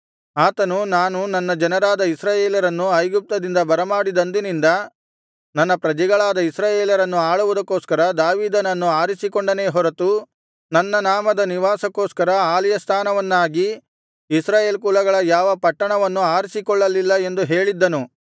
ಆತನು ನಾನು ನನ್ನ ಜನರಾದ ಇಸ್ರಾಯೇಲರನ್ನು ಐಗುಪ್ತದಿಂದ ಬರಮಾಡಿದಂದಿನಿಂದ ನನ್ನ ಪ್ರಜೆಗಳಾದ ಇಸ್ರಾಯೇಲರನ್ನು ಆಳುವುದಕ್ಕೋಸ್ಕರ ದಾವೀದನನ್ನು ಆರಿಸಿಕೊಂಡೆನೇ ಹೊರತು ನನ್ನ ನಾಮದ ನಿವಾಸಕ್ಕೋಸ್ಕರ ಆಲಯ ಸ್ಥಾನವನ್ನಾಗಿ ಇಸ್ರಾಯೇಲ್ ಕುಲಗಳ ಯಾವ ಪಟ್ಟಣವನ್ನೂ ಆರಿಸಿಕೊಳ್ಳಲಿಲ್ಲ ಎಂದು ಹೇಳಿದ್ದನು